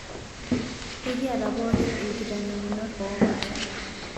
Ekiata pookin ilkitanyamunot oopaasha